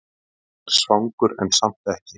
Er svangur en samt ekki!